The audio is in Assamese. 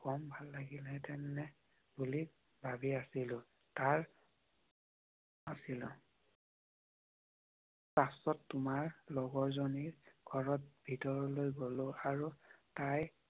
কম ভাল লাগিল হেঁতেন নে বুলি ভাবি আছিলোঁ। তাৰ আছিলোঁ পাছত তোমাৰ লগৰ জনিৰ ঘৰত ভিতৰলৈ গলো। আৰু তাই